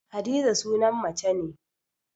Hadiza sunan mace ne